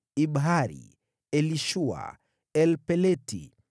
Ibihari, Elishua, Elpeleti,